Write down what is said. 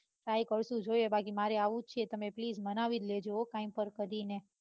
try કરું છું જોઈએ બાકી મારે આવું જ છે તમે please માનવી જ લેજો હો કાંઈ પણ કરીને.